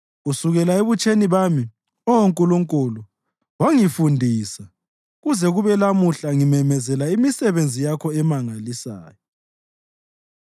Kusukela ebutsheni bami, Oh Nkulunkulu, wangifundisa, kuze kube lamuhla ngimemezela imisebenzi yakho emangalisayo.